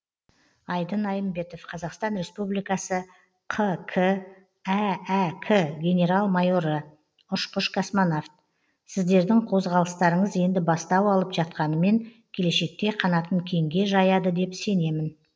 айдын айымбетов қазақстан республикасы қк әәк генерал майоры ұшқыш космонавт сіздердің қозғалыстарыңыз енді бастау алып жатқанымен келешекте қанатын кеңге жаяды деп сенемін